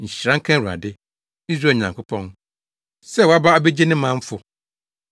“Nhyira nka Awurade, Israel Nyankopɔn, sɛ waba abegye ne manfo.